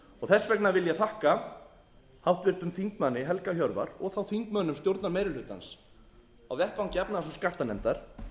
þess vegna vil ég þakka háttvirtum þingmanni helga hjörvar og þá þingmönnum stjórnarmeirihlutans á vettvangi efnahags og skattanefndar